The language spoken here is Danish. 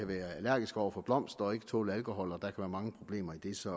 være allergiske over for blomster og ikke kunne tåle alkohol og der kunne være mange problemer i det så